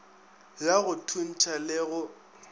ya go thuntšha le go